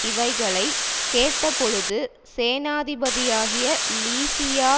இவைகளைக் கேட்டபொழுது சேனாபதியாகிய லீசியா